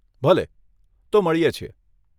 ભલે. તો મળીએ છીએ.